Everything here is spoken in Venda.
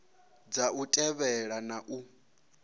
dza u thivhela na u